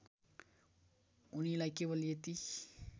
उनीलाई केवल यति